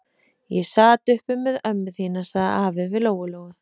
Og ég sat uppi með ömmu þína, sagði afi við Lóu-Lóu.